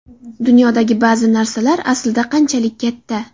Dunyodagi ba’zi narsalar aslida qanchalik katta?